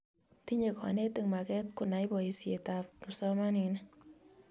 tinye konetik maket kunai boise ab kipsomaninik